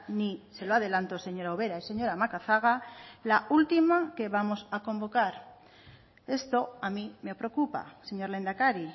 ni se lo adelanto señora ubera y señora macazaga la última que vamos a convocar esto a mí me preocupa señor lehendakari